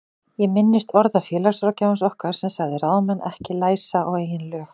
Ég minnist orða félagsráðgjafans okkar sem sagði ráðamenn ekki læsa á eigin lög.